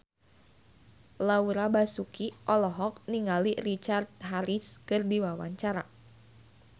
Laura Basuki olohok ningali Richard Harris keur diwawancara